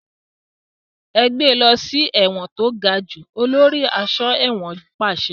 Ẹ gbé lọ sí ẹ̀wọ̀n to gajù! Olórí aṣọ́ ẹ̀wọ̀n pàṣẹ.